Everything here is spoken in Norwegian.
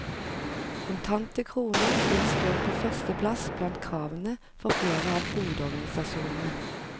Kontante kroner vil stå på førsteplass blant kravene for flere av hovedorganisasjonene.